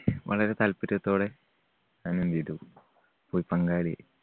വളരെ താല്പര്യത്തോടെ ഞാൻ എന്ത് ചെയ്‌തു? പോയി പങ്കാളിയായി.